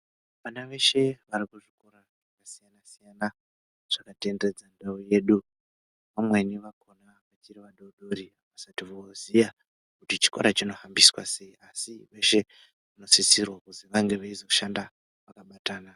Vana veshe varikuzvikora zvakasiyana-siyana zvakatenderedza ndau yedu vamweni vakona vachiri vadodori avasati voziya kuti chikora zvohamba sei asi veshe vanosisirwa kuti vazoshanda vakabatana.